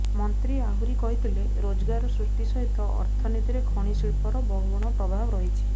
ମନ୍ତ୍ରୀ ଆହୁରି କହିଥିଲେ ରୋଜଗାର ସୃଷ୍ଟି ସହିତ ଅର୍ଥନୀତିରେ ଖଣି ଶିଳ୍ପର ବହୁଗୁଣ ପ୍ରଭାବ ରହିଛି